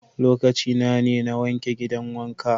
Lokacina ne n'wanke gidan wanka.